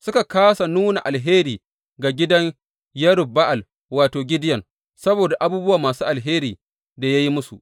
Suka kāsa nuna alheri ga gidan Yerub Ba’al wato, Gideyon saboda abubuwa masu alherin da ya yi musu.